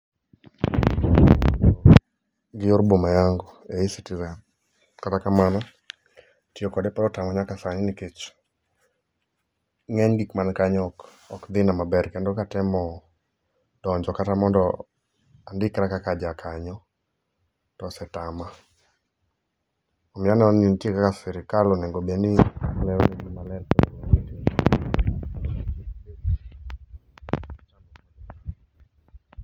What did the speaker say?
Yor boma yangu e E-citizen, kata kamano tiyo kode pod otama nyaka sani nikech ngeny gik man kanyo ok dhina maber kendo katemo donjo kata mondo andikra kaka jakanyo to osetama. Neno ni nitie kaka sirkal onego obed ni lero jii maler...